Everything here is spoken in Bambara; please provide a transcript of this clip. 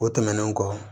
O tɛmɛnen kɔ